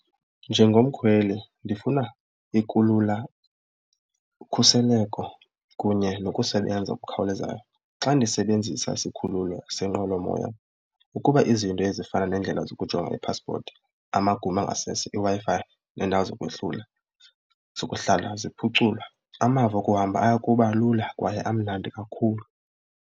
Njengomkhweli ndifuna ikulula ukhuseleko kunye nokusebenza okukhawulezayo. Xa ndisebenzisa isikhululo senqwelomoya ukuba izinto ezifana nendlela zokujonga i-passport, amagumbi angasese, iWi-Fi neendawo zokwehlula zokuhlala ziphuculwe amava okuhamba aya kuba lula kwaye amnandi kakhulu.